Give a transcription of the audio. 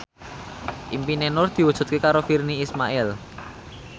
impine Nur diwujudke karo Virnie Ismail